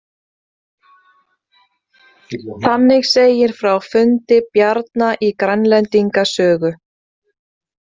Þannig segir frá fundi Bjarna í „Grænlendinga sögu“.